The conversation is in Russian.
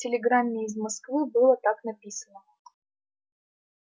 в телеграмме из москвы было так написано